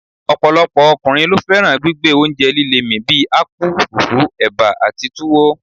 ọ̀pọ̀lọpọ̀ ọkùnrin ló fẹ́ràn gbígbé oúnjẹ líle mì bí akpu, fufu, eba àti tuwo.